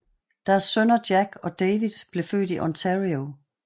Deres sønner Jack og David blev født i Ontario